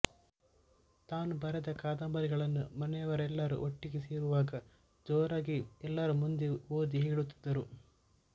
ತಾನು ಬರೆದ ಕಾದಂಬರಿಗಳನ್ನು ಮನೆಯವರೆಲ್ಲಾರು ಒಟ್ಟಿಗೆ ಸೇರುವಾಗ ಜೋರಾಗಿ ಎಲ್ಲರ ಮುಂದೆ ಓದಿ ಹೇಳುತ್ತಿದ್ದರು